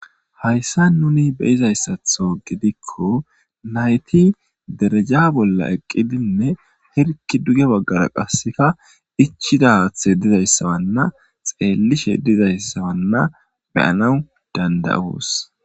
hayssa nuni beizayssatho gidikko nayti dereja bolla eqqidinne hirki duga baggara qasseka ichida haathe dizayssawanna xeellishe dizayssawanna beyana dandayos